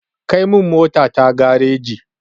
Kai min motata gareji.